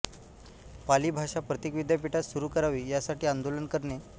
पाली भाषा प्रत्येक विद्यापीठात सुरू करावी यासाठी आंदोलन करणे